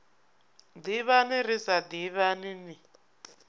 ḓivhana ri sa ḓivhani ni